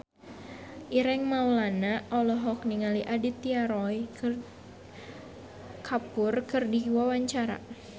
Ireng Maulana olohok ningali Aditya Roy Kapoor keur diwawancara